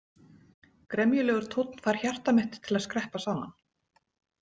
Gremjulegur tónn fær hjarta mitt til að skreppa saman.